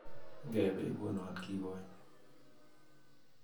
Ikebe ikonon kiekonye